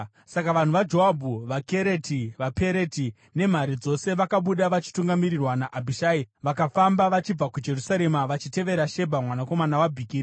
Saka vanhu vaJoabhu, vaKereti, vaPereti nemhare dzose vakabuda vachitungamirirwa naAbhishai. Vakafamba vachibva kuJerusarema vachitevera Shebha mwanakomana waBhikiri.